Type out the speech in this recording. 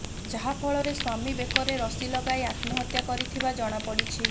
ଯାହାଫଳରେ ସ୍ବାମୀ ବେକରେ ରଶି ଲଗାଇ ଆତ୍ମହତ୍ୟା କରିଥିବା ଜଣାପଡିଛି